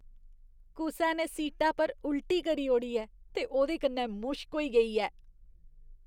कुसै ने सीटा पर उल्टी करी ओड़ी ऐ ते ओह्दे कन्नै मुश्क होई गेई ऐ।